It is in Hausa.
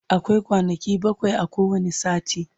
akwai kwanaki bakwai a kowani sati